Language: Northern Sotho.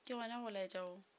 ke gona go laetša go